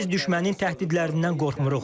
Biz düşmənin təhdidlərindən qorxmuruq.